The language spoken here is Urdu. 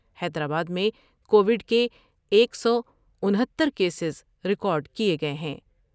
حیدرآباد میں کو وڈ کے ایک سو انہتر کیسز ریکارڈ کئے گئے ہیں ۔